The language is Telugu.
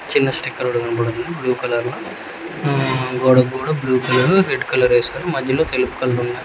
చిన్న స్టికర్ ఒకటి కనబడుతుంది బ్లూ కలర్ లో ఊూ గోడ కూడ బ్లూ కలరు రెడ్ కలరేసారు మధ్యలో తెలుపు కలర్ ఉన్--